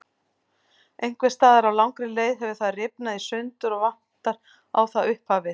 Einhvers staðar á langri leið hefur það rifnað í sundur og vantar á það upphafið.